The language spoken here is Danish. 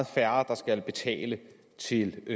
færre der skal betale til